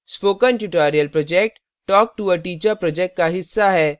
spoken tutorial project talktoa teacher project का हिस्सा है